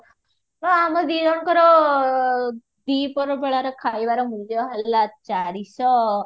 ଆମ ଦିଜଣଙ୍କର ଡିପର ବେଳର ଖାଇବାର ମୂଲ୍ୟ ହେଲା ଚାରିଶହ